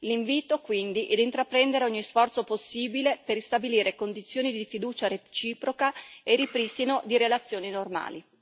L'invito, quindi, è di intraprendere ogni sforzo possibile per ristabilire condizioni di fiducia reciproca e ripristino di relazioni normali.